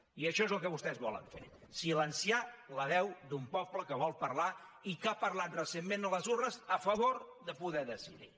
i això és el que vostès volen fer silenciar la veu d’un poble que vol parlar i que ha parlat recentment a les urnes a favor de poder decidir